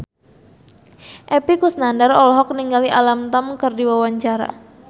Epy Kusnandar olohok ningali Alam Tam keur diwawancara